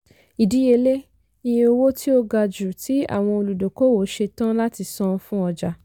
ìdíyelé - iye owó tí ó ga jù tí àwọn olùdókòwò ṣetán láti san fún ọjà.